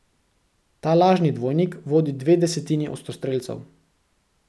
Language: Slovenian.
Ta lažni dvojnik vodi dve desetini ostrostrelcev.